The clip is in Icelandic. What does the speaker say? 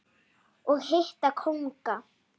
og hitta kónga.